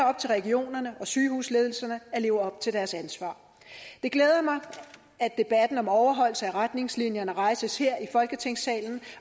op til regionerne og sygehusledelserne at leve op til deres ansvar det glæder mig at debatten om overholdelse af retningslinjerne rejses her i folketingssalen